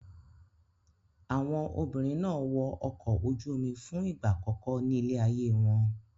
Àwọn obìnrin náà wọ ọkọ̀ ojú-omi fún ìgbà àkọ́kọ́ nílé ayé wọn.